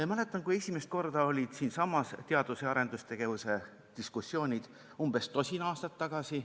Ma mäletan, kui esimest korda olid siinsamas teadus- ja arendustegevuse diskussioonid, umbes tosin aastat tagasi.